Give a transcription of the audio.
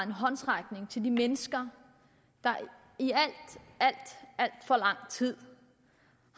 en håndsrækning til de mennesker der i al al for lang tid